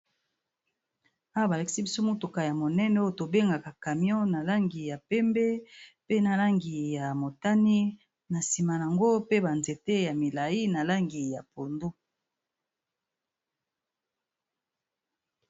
Awa ba lakisi biso motuka ya monene oyo to bengaka camion na langi ya pembe pe na langi ya motani, na sima n'ango pe ba nzete ya milayi na langi ya pondu .